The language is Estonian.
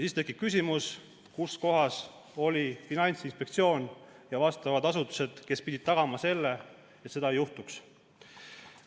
Siis tekib küsimus, kus kohas olid Finantsinspektsioon ja teised asutused, kes pidanuks tagama, et seda ei juhtuks.